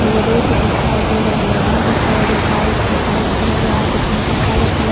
एगो रोड दिखाई दे रहले है जेता एगो बाइक है बाइक पर एगो आदमी है काला कलर --